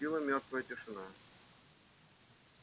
наступила мёртвая тишина